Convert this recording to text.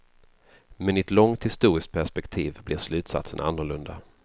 Men i ett långt historiskt perspektiv blir slutsatsen annorlunda.